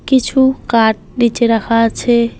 কিছু কাঠ নীচে রাখা আছে।